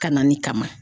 Kalanni kama